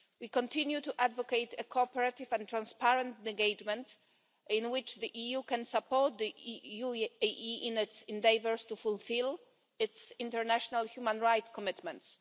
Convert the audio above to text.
We continue to advocate a cooperative and transparent engagement in which the EU can support the UAE in its endeavours to fulfil its international human rights commitments.